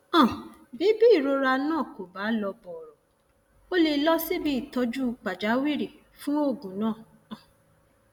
um bí bí ìrora náà kò bá lọ bọrọ ó lè lọ síbi ìtọjú pàjáwìrì fún oògùn um